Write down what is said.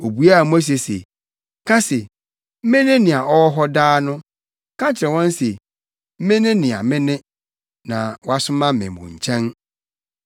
Obuaa Mose se, ka se, “Mene nea ɔwɔ hɔ daa no. Ka kyerɛ wɔn se, ‘ Mene Nea Mene na wasoma me mo nkyɛn.’ ”